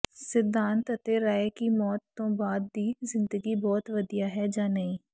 ਸਿਧਾਂਤ ਅਤੇ ਰਾਏ ਕਿ ਮੌਤ ਤੋਂ ਬਾਅਦ ਦੀ ਜ਼ਿੰਦਗੀ ਬਹੁਤ ਵਧੀਆ ਹੈ ਜਾਂ ਨਹੀਂ